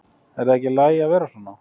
Er það ekki í lagi að vera svona?